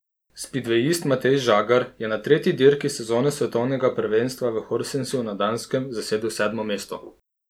Spidvejist Matej Žagar je na tretji dirki sezone svetovnega prvenstva v Horsensu na Danskem zasedel sedmo mesto.